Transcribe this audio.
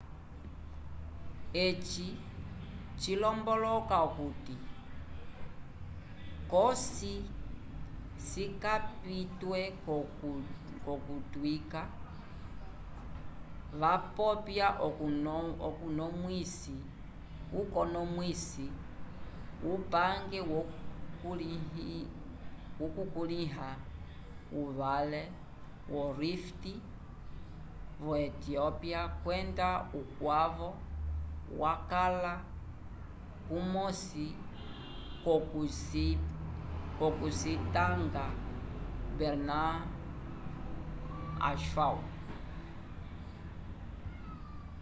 eci cilomboloka okuti cosi cikapitwe k'okutyuka wapopya ukonomwisi wupange wokukulĩha ovale yo rift vo etiópia kwenda ukwavo vakala kumosi k'okucitanga berhane asfaw